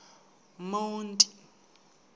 monti